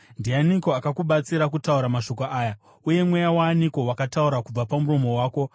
Ndianiko akakubatsira kutaura mashoko aya? Uye mweya waaniko wakataura kubva pamuromo wako?